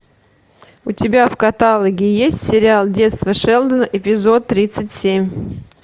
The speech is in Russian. у тебя в каталоге есть сериал детство шелдона эпизод тридцать семь